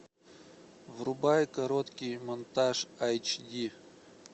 врубай короткий монтаж эйч ди